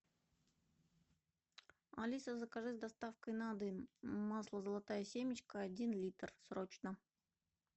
алиса закажи с доставкой на дом масло золотая семечка один литр срочно